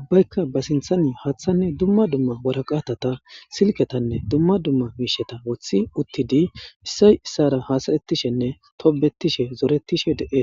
ubbaykka ba sinthani haaththanne dumma dumma boraqatata silketanne dumma dumma miisheta wothi uttidi issay issara haasaretishenne tobetishe zoretishe de'etes.